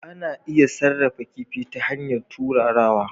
Ana iya sarrafa kifi ta hanyar turarawa